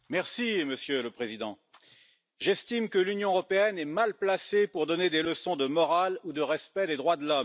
Monsieur le Président, j'estime que l'Union européenne est mal placée pour donner des leçons de morale ou de respect des droits de l'homme.